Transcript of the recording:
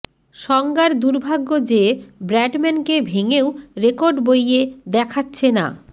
সঙ্গার দুর্ভাগ্য যে ব্র্যাডম্যানকে ভেঙেও রেকর্ড বইয়ে দেখাচ্ছে না